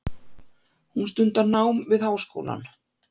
Hún stundar nám við háskólann.